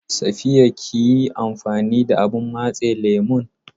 Safiya kiyi amfani da abun matse lemon?